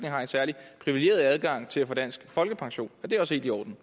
har en særlig privilegeret adgang til at få dansk folkepension er det også helt i orden